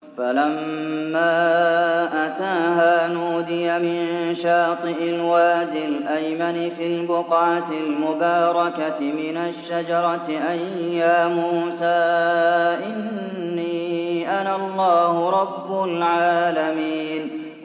فَلَمَّا أَتَاهَا نُودِيَ مِن شَاطِئِ الْوَادِ الْأَيْمَنِ فِي الْبُقْعَةِ الْمُبَارَكَةِ مِنَ الشَّجَرَةِ أَن يَا مُوسَىٰ إِنِّي أَنَا اللَّهُ رَبُّ الْعَالَمِينَ